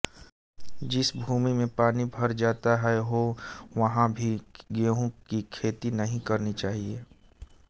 जिस भूमि में पानी भर जाता हो वहां भी गेहूं की खेती नहीं करनी चाहिए